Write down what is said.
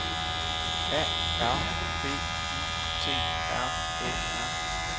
A R B I T R Æ R